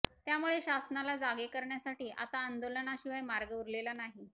त्यामुळे शासनाला जागे करण्यासाठी आता आंदोलनाशिवाय मार्ग उरलेला नाही